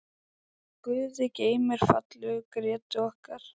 Guði geymi fallegu Grétu okkar.